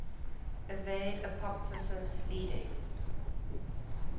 evade apoptosis leading